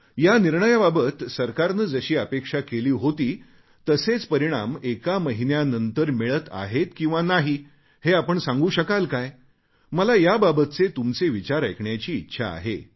या निर्णयाबाबत सरकारने जशी अपेक्षा केली होती तसेच परिणाम एका महिन्यानंतर मिळत आहेत किंवा नाही हे आपण सांगू शकाल काय मला याबाबतचे तुमचे विचार ऐकण्याची इच्छा आहे